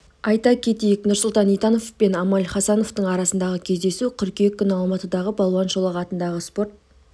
айта кетейік нұрсұлтан итанов пен амаль хасанов арасындағы кездесу қыркүйек күні алматыдағы балуан шолақ атындағы спорт